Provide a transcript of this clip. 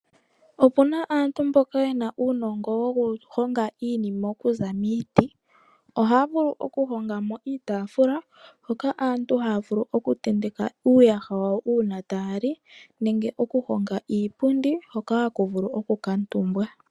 Opuna aantu mboka yena uunongo wokuhonga iinima okuza miiti, ohaa vulu okuhongamo iitafula hoka aantu haavulu oku tentaka uuyaha wawo uuna taaali, nenge okuhonga iipundi hoka haku vulu oku katumbwa.